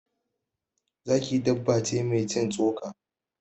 Zaki dabba ce mai cin tsoka.